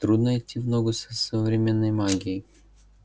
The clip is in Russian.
трудно идти в ногу с современной магией